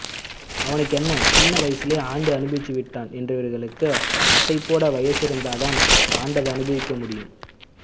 அவனுக்கென்ன சின்ன வயசிலேயே ஆண்டு அனுபவிச்சிட்டான் என்கிறவர்களுக்கு அசை போட வயசிருந்தாத்தான் ஆண்டத அனுபவிக்க முடியும்